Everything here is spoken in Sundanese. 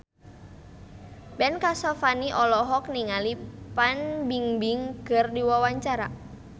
Ben Kasyafani olohok ningali Fan Bingbing keur diwawancara